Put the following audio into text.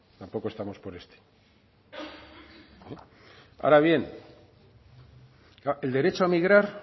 tampoco estamos por este ahora bien el derecho a migrar